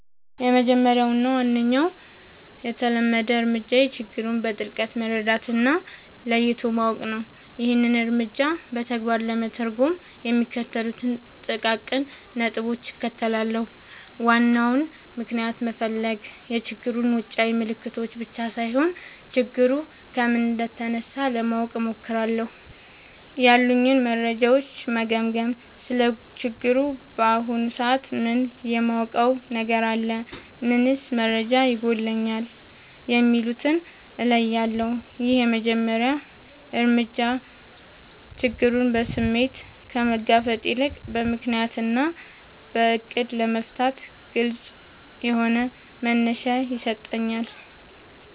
—የመጀመሪያው እና ዋነኛው የተለመደ እርምጃዬ ችግሩን በጥልቀት መረዳት እና ለይቶ ማወቅ ነው። ይህንን እርምጃ በተግባር ለመተርጎም የሚከተሉትን ጥቃቅን ነጥቦች እከተላለሁ፦ ዋናውን ምክንያት መፈለግ፣ የችግሩን ውጫዊ ምልክቶች ብቻ ሳይሆን፣ ችግሩ ከምን እንደተነሳ ለማወቅ እሞክራለሁ። ያሉኝን መረጃዎች መገምገም: ስለ ችግሩ በአሁኑ ሰዓት ምን የማውቀው ነገር አለ? ምንስ መረጃ ይጎድለኛል? የሚለውን እለያለሁ። ይህ የመጀመሪያ እርምጃ ችግሩን በስሜት ከመጋፈጥ ይልቅ በምክንያት እና በዕቅድ ለመፍታት ግልጽ የሆነ መነሻ ይሰጠኛል።